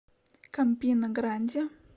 кампина гранди